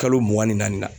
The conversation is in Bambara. Kalo mugan ni naani na